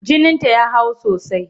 Jininta ya hau sosai.